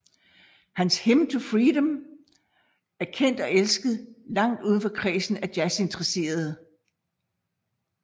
Hans Hymn to Freedom er kendt og elsket langt udenfor kredsen af jazzinteresserede